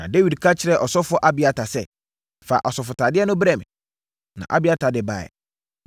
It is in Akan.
Na Dawid ka kyerɛɛ ɔsɔfoɔ Abiatar, sɛ, “Fa asɔfotadeɛ no brɛ me.” Na Abiatar de baeɛ.